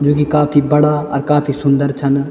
जोकि काफी बड़ा और काफी सुन्दर छन।